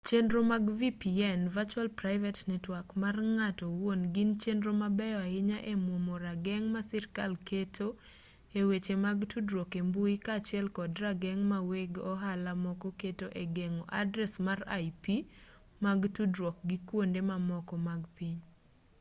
chenro mag vpn virtual private network mar ng'ato owuon gin chenro mabeyo ahinya e mwomo rageng' ma sirkal keto e weche mag tudruok e mbui kaachiel kod rageng' ma weg ohala moko keto e geng'o adres mag ip mag tudruok gi kwonde mamoko mag piny